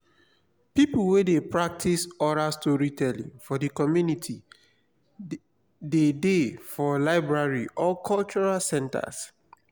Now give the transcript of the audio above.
pipo wey de practice oral storytelling for di community de dey for library or cultural centers